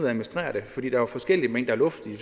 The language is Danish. administrere det fordi der er forskellige mængder luft i de